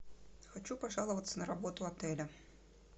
хочу пожаловаться на работу отеля